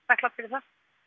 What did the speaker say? þakklát fyrir það